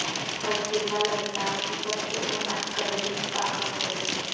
حزب اللہ لبنان کی سب سے اہم عسکری طاقت ہے